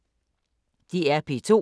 DR P2